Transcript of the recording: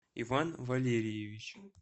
иван валерьевич